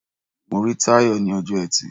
Mo rí Táyọ̀ ní ọjọ́ Ẹtì.